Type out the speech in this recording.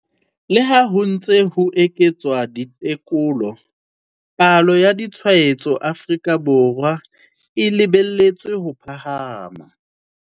Leha ho ntse ho eketswa ditekolo, palo ya ditshwaetso Aforika Borwa e lebeletswe ho phahama.